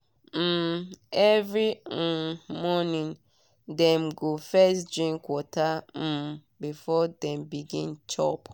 um every um morning dem go first drink water um before dem begin chop.